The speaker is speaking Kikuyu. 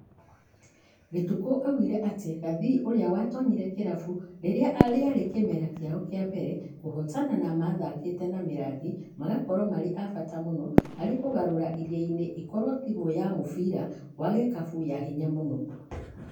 Gĩtukũ augire atĩ Gathii ũrĩa watonyire kĩrabu rĩrĩa rĩarĩ kĩmera kĩao kĩa mbere kũhotana mathakĩte na Mĩrangi magakorwo marĩ a bata mũno harĩ kũgarura Iriainĩ ĩkorwo timũ ya mũbira wa gĩkabũ ya hinya mũno .